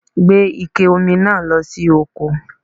Gbé Ike Omi náà lọ sí oko